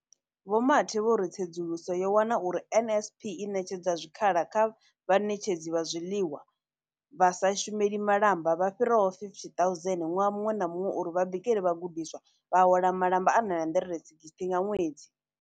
Vho Mathe vho ri, Tsedzuluso yo wana uri NSNP i ṋetshedza zwikhala kha vhaṋetshedzi vha zwiḽiwa vha sa shumeli malamba vha fhiraho 50 000 ṅwaha muṅwe na muṅwe uri vha bikele vhagudiswa, vha hola malamba a R960 nga ṅwedzi.